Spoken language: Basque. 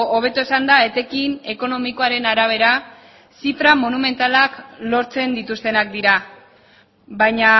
hobeto esanda etekin ekonomikoaren arabera zifra monumentalak lortzen dituztenak dira baina